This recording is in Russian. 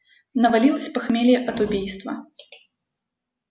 навалилось похмелье от убийства